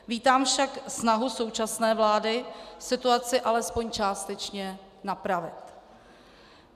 Vítám však snahu současné vlády situaci alespoň částečně napravit.